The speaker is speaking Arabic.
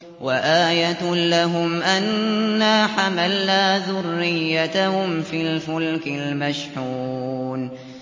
وَآيَةٌ لَّهُمْ أَنَّا حَمَلْنَا ذُرِّيَّتَهُمْ فِي الْفُلْكِ الْمَشْحُونِ